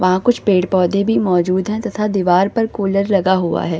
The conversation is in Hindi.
वहाँ कुछ पेड़-पोधे भी मौजूद हैं तथा दीवार पर कूलर लगा हुआ है।